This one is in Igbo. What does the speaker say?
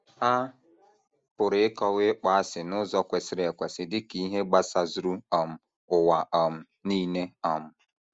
A pụrụ ịkọwa ịkpọasị n’ụzọ kwesịrị ekwesị dị ka ihe gbasazuru um ụwa um nile. um